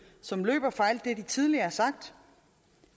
som løber fra alt det de tidligere har sagt